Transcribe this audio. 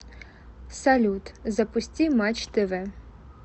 салют запусти матч тв